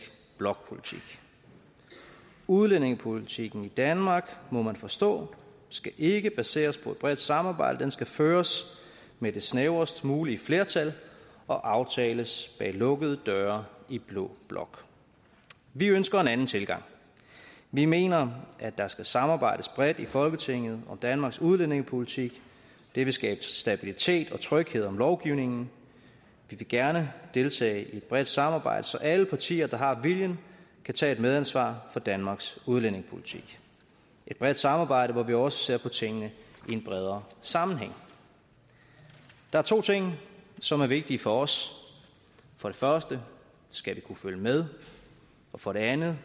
blokpolitik udlændingepolitikken i danmark må man forstå skal ikke baseres på et bredt samarbejde den skal føres med det snævrest mulige flertal og aftales bag lukkede døre i blå blok vi ønsker en anden tilgang vi mener at der skal samarbejdes bredt i folketinget om danmarks udlændingepolitik det vil skabe stabilitet og tryghed om lovgivningen vi vil gerne deltage i et bredt samarbejde så alle partier der har viljen kan tage et medansvar for danmarks udlændingepolitik et bredt samarbejde hvor vi også ser på tingene i en bredere sammenhæng der er to ting som er vigtige for os for det første skal vi kunne følge med og for det andet